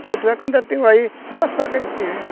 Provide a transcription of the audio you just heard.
Tanto é que eu ainda tenho aí duas facas de seringa.